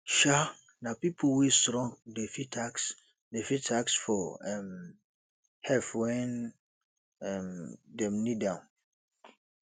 um nah pipo wey strong dey fit ask dey fit ask for um help wen um dem need am